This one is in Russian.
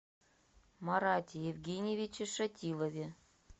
марате евгеньевиче шатилове